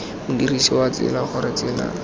modirsi wa tsela gore tsela